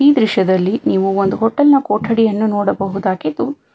ದೃಶ್ಯದಲ್ಲಿ ನೀವು ಒಂದು ಹೋಟೆಲ್ ನ ಕೊಠಡಿಯನ್ನು ನೋಡಬಹುದಾಗಿದ್ದು --